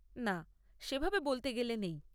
না, সেভাবে বলতে গেলে নেই।